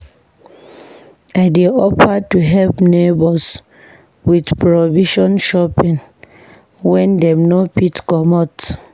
I dey offer to help neighbors with provision shopping wen dem no fit comot.